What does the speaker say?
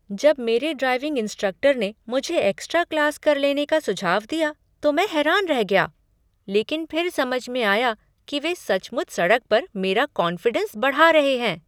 जब मेरे driving instructor ने मुझे एक्स्ट्रा क्लास कर लेने का सुझाव दिया तो मैं हैरान रह गया। लेकिन फिर समझ में आया कि वे सचमुच सड़क पर मेरा कॉन्फिडेंस बढ़ा रहे हैं।